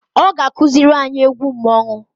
Ọ ga akụzịlị anyị egwu mmonwu.